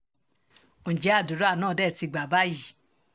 ǹjẹ́ àdúrà náà dé ti gbà báyìí